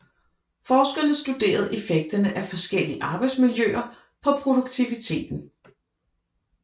Forskerne studerede effekterne af forskellige arbejdsmiljøer på produktiviteten